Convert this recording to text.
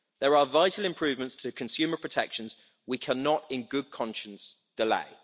There are vital improvements to the consumer protections we cannot, in good conscience, delay.